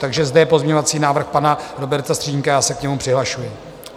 Takže zde je pozměňovací návrh pana Roberta Stržínka, já se k němu přihlašuji.